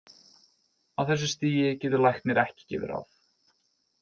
Á þessu stigi getur læknir ekki gefið ráð.